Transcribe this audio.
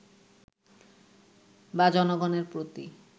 বা জনগনের প্রতি